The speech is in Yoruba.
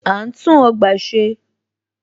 À ń tún ọgbà ṣe.